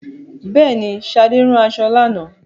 Bẹẹni, Sade rán aṣọ lánàá